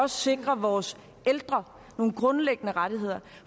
sikre vores ældre nogle grundlæggende rettigheder